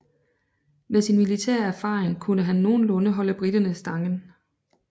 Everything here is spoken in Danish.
Med sin militære erfaring kunne han nogenlunde holde briterne stangen